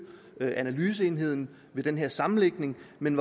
analyseenheden ved den her sammenlægning men